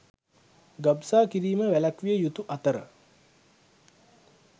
ගබ්සා කිරීම වැළැක්විය යුතු අතර